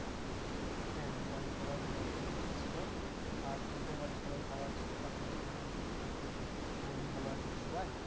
হ্যাঁ হ্যাঁ বাড়ির সবাই ভালো আছে একদম first class আর তোদের বাড়ির সবাই ভালো আছে তো কাকু কাকিমা তারপরে তোর বোন ভালো আছে তো সবাই?